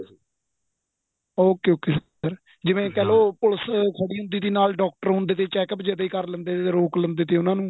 ok ok sir ਜਿਵੇਂ ਕਹਿਲੋ police ਖੜੀ ਹੁੰਦੀ ਸੀ ਨਾਲ doctor ਹੁੰਦੇ ਸੀ checkup ਜਦੇ ਹੀ ਕਰ ਲੇਂਦੇ ਰੋਕ ਲੈਂਦੇ ਸੀ ਉਹਨਾਂ ਨੂੰ